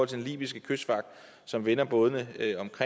den libyske kystvagt som vender bådene